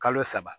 Kalo saba